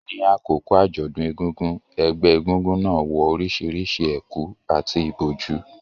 Ní àkókò àjọ̀dún egúngún, ẹgbẹ́ egúngún náà wọ orísìírísìí ẹ̀kú àti ìbòjú,